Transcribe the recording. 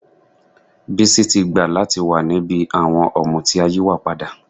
Bísí ti gbà láti wà níbi àwọn ọ̀mùtí ayíwàpadà